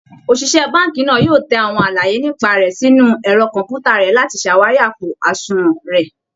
Òṣìṣẹ́ báǹkì náà yóò tẹ àwọn àlàyé nípa rẹ̀ sínú ẹ̀rọ kọ̀ǹpútà rẹ̀ láti ṣàwárí àpò àṣùnwọ̀n rẹ